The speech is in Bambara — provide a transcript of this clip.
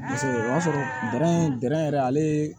o y'a sɔrɔ yɛrɛ ale ye